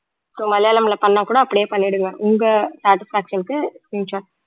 so மலையாளம்ல பண்ணா கூட அப்படியே பண்ணிடுங்க உங்க satisfaction க்கு screenshot